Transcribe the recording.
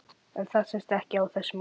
En það sést ekki á þessu móti?